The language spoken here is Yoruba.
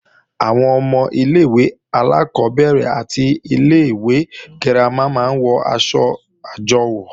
Àwọn ọmọ ilé-ìwé alákọ́bẹ̀rẹ̀ àti ilé-ìwé girama máa ń wọ̀ aṣọ àjọwò